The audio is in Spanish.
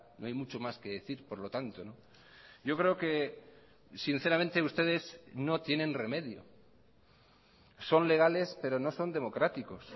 no hay mucho más que decir por lo tanto yo creo que sinceramente ustedes no tienen remedio son legales pero no son democráticos